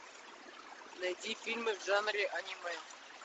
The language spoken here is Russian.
найди фильмы в жанре аниме